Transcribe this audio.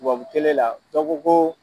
Tubabu la dɔ ko ko